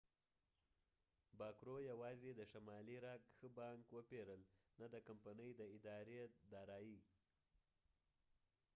باکرو یواځې د شمالي راک ښه بانک' وپیرل نه د کمپنۍ د ادارې دارایي